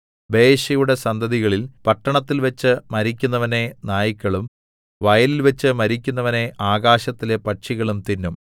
ബയെശയുടെ സന്തതികളിൽ പട്ടണത്തിൽവെച്ച് മരിക്കുന്നവനെ നായ്ക്കളും വയലിൽവെച്ച് മരിക്കുന്നവനെ ആകാശത്തിലെ പക്ഷികളും തിന്നും